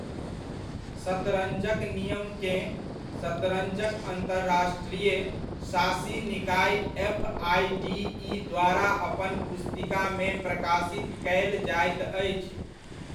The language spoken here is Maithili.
शतरञ्जक नियमकेँ शतरञ्जक अन्तर्राष्ट्रीय शासी निकाय एफआइडीइ द्वारा अपन पुस्तिकामे प्रकाशित कयल जाइत अछि।